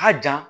A jan